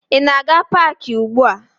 Ị na-aga paakị ugbua?